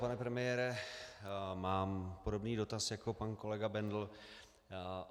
Pane premiére, mám podobný dotaz jako pan kolega Bendl.